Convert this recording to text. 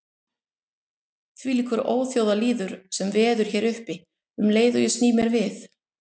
Þvílíkur óþjóðalýður sem veður hér uppi um leið og ég sný mér við.